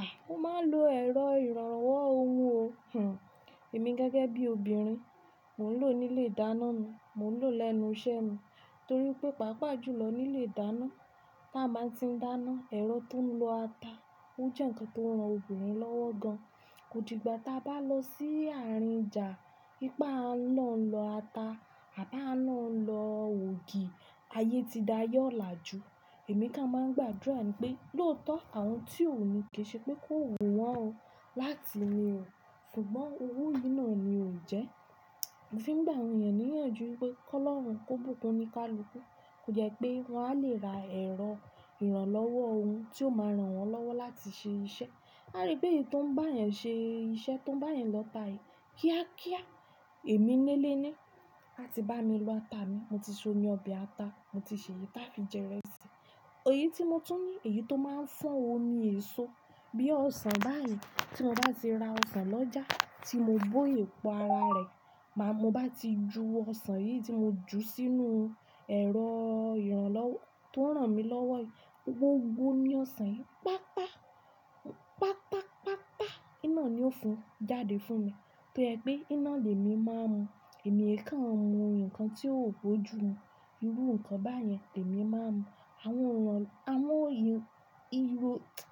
A! Ó máa ń lo ẹ̀rọ ìrànlọ́wọ́ ohun o. Huh! Èmi gẹ́gẹ́ bí obìnrin, mò ń lò ó nílé ìdáná mi, mò ń lò ó lẹ́nu iṣẹ́ mi. Torí pé, pàápàá jù lọ nílé ìdáná, tí a bá ń ti dáná, ẹ̀rọ tó ń lọ ata, ó jẹ́ ǹkan tó ń ran obìnrin lọ́wọ́ gan. Kò dìgbà tí a bá lọ sí àárín ọjà, ipá náà ń lọ ata, àdá náà ń lọ ògì, ayé ti da yọ̀ làájú. Èmi ká máa ń gbàdúrà ni pé, "Lóòótọ́ àwọn tí ò ní kì í ṣe pé kó hun wọn o, wá ti ni o". Ṣùgbọ́n owo yìí náà ni ò jẹ́. Mo fi ń gbà àwọn ènìyàn ní ìyànjú wípé, kó lọ́run, kó bùkun o ní ká luku. Kò jẹ́ pé wà á lè ra ẹ̀rọ ìrànlọ́wọ́ ohun tí ó máa rán wọn lọ́wọ́ láti ṣe iṣẹ́. A rí pé èyí tó ń bá èèyàn ṣe iṣẹ́ tó ń bá èèyàn lọ́ ta èyí. Kíákíá! Èmi nílé ni, a ti bá mi lọ ata mi, mo ti so ní ọbẹ̀ ata, mo ti sè é tá fi jẹ ìrẹsì. Òye tí mo tún ní, èyí tó máa ń fọ́n omi èso. Bí i ọsàn báyìí, tí mo bá ti ra ọsàn lọ́jà, tí mo bó ìpò ara rẹ̀, bá mo bá ti ju ọsàn yìí tí mo ju sínú ẹ̀rọ ìrànlọ́wọ́ tó ń rán mi lọ́wọ́ yìí, gbó, gbó ní ọsàn yìí, pápá, pápá, pápá, iná ni ó fún, jáde fún mi. Tó jẹ́ pé iná lèmi máa mu, èmi he kan mú nǹkan tí ó boju mù, irú nǹkan báyẹn lèmi máa ń mu. Àwọn ìràn, àwọn ihu, ihò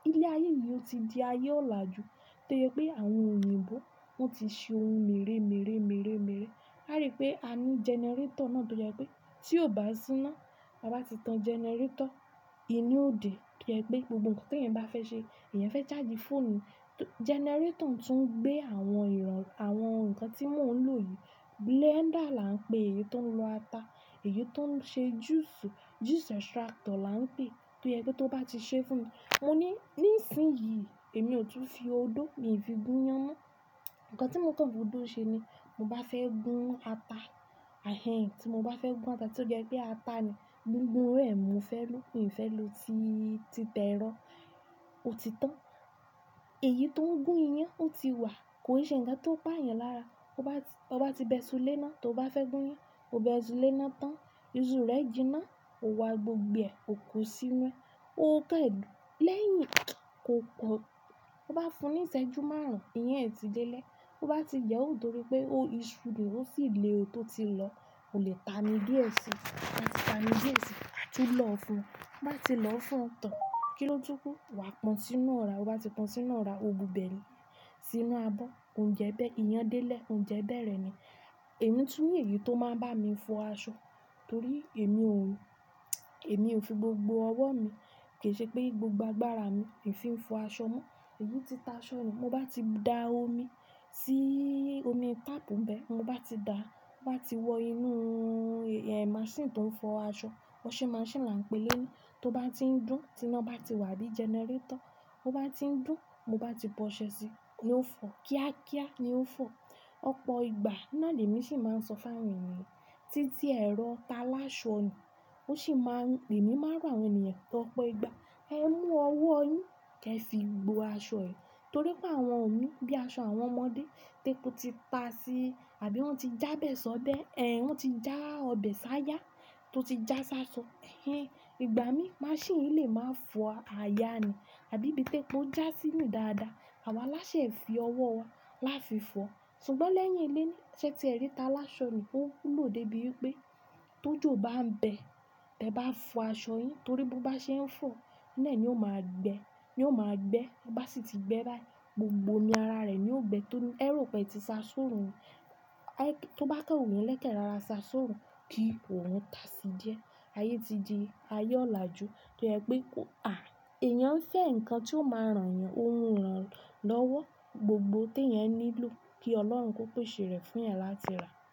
ilé ayé yìí ti di ayé ọ̀láàjú. Torí pé àwọn òyìnbó wọ́n ti ṣe ohun mèremère, mèremère. A rí pé a ní generator náà tó jẹ́ pé tí ó bá síná, a bá ti tan generator, inú ò dè. Torí ẹ pé gbogbo nǹkan tí ẹ̀nyẹn bá fẹ́ ṣe, ẹ̀nyẹn fẹ́ charge fóònù, generator tún ń gbé àwọn ìràn, àwọn nǹkan tí mò ń lò yìí. Blender là ń pè èyí tó ń lọ ata, èyí tó ń ṣe juice, juice extractor là ń pè é. Torí ẹ pé tó bá ti ṣe fún mi, mo ní nísìnyí èmi ò tún fi odó, mi ò fi gún iyán mọ́. Ǹkan tí mo tàn fún odó ṣe ni, mo bá fẹ́ gún ata, ẹhe! Tí mo bá fẹ́ gún ata, tó jẹ́ pé ata ni gbùngbùn rẹ̀ mo fẹ́ lò, mi ò fẹ́ lò ti, ti tẹ́ rọ̀, ó ti tán. Èyí tó ń gún iyán ó ti wà, kò ì ṣe ǹkan tó pa èèyàn lára. O bá ti, o bá ti bẹ ìṣú lé iná, tó bá fẹ́ gún iyán, o bẹ ìṣú lé iná tán, ìṣú rẹ jinná, o wá gbogbo ẹ̀, o kó sínú ẹ, o pẹ̀dú. Lẹ́yìn kó pọ̀, o bá fún ní ìṣẹ́jú márùn-ún, iyán ẹ ti délẹ. O bá ti jẹ ó, torí pé o, ìṣú dì, ó sì le o tó ti lọ, o lè ta ní bí èsì. A ti ta ní bí èsì, a ti lò fún. A bá ti lò fún tán, kí ló túkú? Wa pọ̀n sínú ọ̀rá. O bá ti pọ̀n sínú ọ̀rá, o bu bẹ̀ lẹ́, sínú abọ́. Ǹjẹ́ bẹ́ẹ̀ iyán délé, ǹjẹ́ bẹ́ẹ̀ rẹ́ ni Èmi tún ní èyí tó máa ń bá mi fọ aṣọ, torí èmi ò, èmi ò fi gbogbo ọwọ́ mi, kì í ṣe pé gbogbo agbára mi, èmi fi ń fọ aṣọ mọ́. Èyí tí tá aṣọ mi, mo bá ti da omi sí omi tap bẹ́ẹ̀, mo bá ti da, mo bá ti wọ inú, eẹ! Machine tó ń fọ aṣọ, washing machine là ń pè é léyii. Tó bá ti ń dùn, tí iná bá ti wà bí generator, ó bá ti ń dùn, mo bá ti bọ́ ṣẹ sí i, ló ń fọ. Kíákíá! Ni ó ń fọ. Ọ̀pọ̀ ìgbà iná lèmi sì máa ń sọ fáàní mi. Títí ẹ̀rọ ta láṣọ ni. Ó sì máa ń, lèmi máa rán àwọn ènìyàn, tọ́ ọ̀pọ̀ ìgbà, "Ẹ mú ọwọ́ yín, kí ẹ fi gbo aṣọ ẹ". Torí pé àwọn omi bí i aṣọ àwọn ọmọdé, tépú tí ta sí i àbí wọ́n ti jábẹ̀ sọ́dẹ́, ẹhn, wọ́n ti já ọbẹ̀ sáyá tó ti já sáṣọ, ẹhen. Ìgbà mí machine yìí lè máa fọ aya ni, àbí bí tépú já sínú dáadáa. Àwa láṣẹ fi ọwọ́ wa láfi fọ. Ṣùgbọ́n lẹ́yìn ilé ni, ṣé tí ẹ rí táa láṣọ ni, ó kúlò débi pé tó jò bá ń bẹ, ẹ bá fọ aṣọ yín, torí bó bá ṣe ń fọ, iná ni ó máa gbẹ, ni ó máa gbẹ. Ó bá sì ti gbẹ báyìí, gbogbo ni ara rẹ̀ ni ó gbẹ́. Torí ẹ̀rọ pé tí sá sóòrù ń, a ẹ́, tó bá tàn wò ní lẹ́kẹ̀ẹ́ rara sá sóòrù kí òòrùn ta sí díẹ̀. Ayé ti di ayé ọ̀làjú. Torí ẹ pé kó, à, èèyàn ń fẹ́ ǹkan tí ó máa rán yàn, ó mú ìrànlọ́wọ́. Gbogbo tí ẹ̀nyẹn nílò kí ọlọ́run kó pèsè rẹ̀ fún ẹ láti rà.